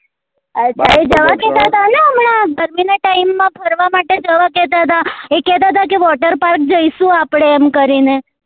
અચ્છા જવા કેતા હતા ને હમણા ગરમી નાં time માં ફરવા માટે જવા કેતા હતા એ કેતા હતા કે water park જઈશું આપડે એમ કરી ને